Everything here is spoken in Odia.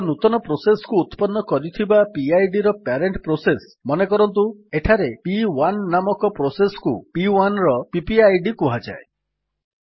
ଏକ ନୂତନ ପ୍ରୋସେସ୍ କୁ ଉତ୍ପନ୍ନ କରିଥିବା ପିଡ୍ ର ପ୍ୟାରେଣ୍ଟ୍ ପ୍ରୋସେସ୍ ମନେକରନ୍ତୁ ଏଠାରେ ପି1 ନାମକ ପ୍ରୋସେସ୍ କୁ P1ର ପିପିଆଇଡି କୁହାଯାଏ